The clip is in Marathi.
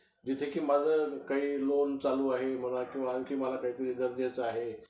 आम्हांला काय आम्हांला काय सांगता माहितीये का?